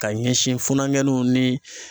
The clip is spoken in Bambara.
Ka ɲɛsin funakɛninw ni